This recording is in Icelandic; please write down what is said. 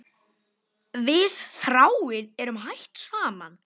Við Þráinn eru hætt saman.